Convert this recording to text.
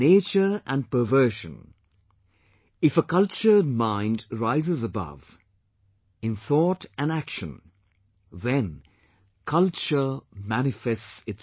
nature and perversion, if a cultured mind rises above, in thought and action, then 'culture' manifests itself